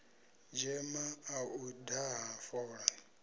dzema ḽa u daha fola